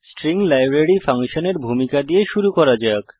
string library ফাংশনের ভূমিকা দিয়ে শুরু করা যাক